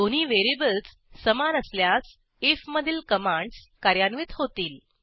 दोन्ही व्हेरिएबल्स समान असल्यास आयएफ मधील कमांडस कार्यान्वित होतील